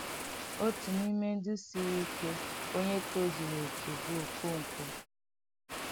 Otu n’ime ndị siri ike onye tozuru oke bụ Okonkwo.